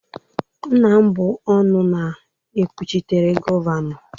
Nna m bụ ọnụ na-ekwuchitere Gọvanọ